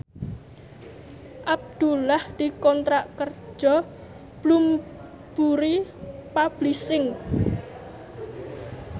Abdullah dikontrak kerja karo Bloomsbury Publishing